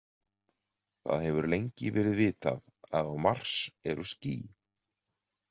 Það hefur lengi verið vitað að á Mars eru ský.